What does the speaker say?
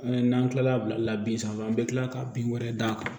N'an tilala bin sanfɛ an bɛ kila ka bin wɛrɛ d'a kan